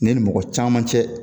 Ne ni mɔgɔ caman cɛ